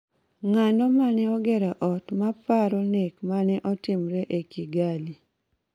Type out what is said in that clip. Ng�ano ma ne ogero ot ma paro ma nek ma ne otimre e Kigali?